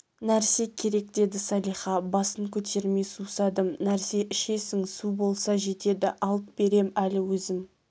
нәрсе керек деді салиха басын көтермей сусадым нәрсе ішесің су болса жетеді алып берем әлі өзім